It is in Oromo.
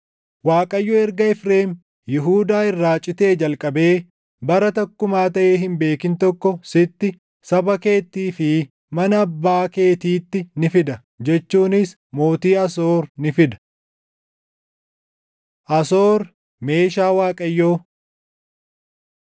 Waaqayyo erga Efreem Yihuudaa irraa citee jalqabee bara takkumaa taʼee hin beekin tokko sitti, saba keettii fi mana Abbaa keetiitti ni fida; jechuunis mootii Asoor ni fida.” Asoor, Meeshaa Waaqayyoo